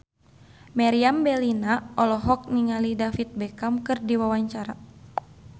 Meriam Bellina olohok ningali David Beckham keur diwawancara